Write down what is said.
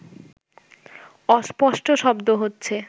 অস্পষ্ট শব্দ হচ্ছে